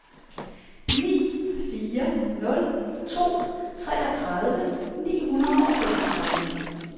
ni fire nul to treogtredive ni hundrede og femogtredive